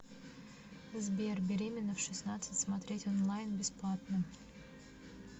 сбер беременна в шестнадцать смотреть онлайн бесплатно